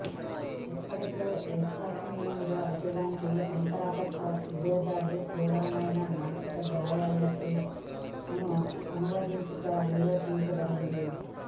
ఇప్పటికే విశ్వసనీయంగా అటువంటి అంతర్గత విభేదాలు తీవ్రమైన మానసిక గాయాల లోకి అనువదించటం నిరూపించబడింది